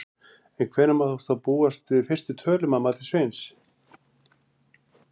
En hvenær má þá búast við fyrstu tölum að mati Sveins?